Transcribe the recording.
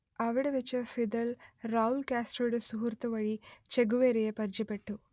അവിടെ വെച്ച് Fidel Raul കാസ്ട്രോയുടെ സുഹൃത്തു വഴി ചെഗുവേരയെ പരിചയപ്പെട്ടു